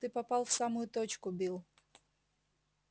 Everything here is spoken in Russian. ты попал в самую точку билл